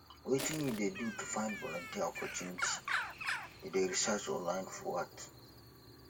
wetin you dey do to find volunteer opportunity you dey research online or what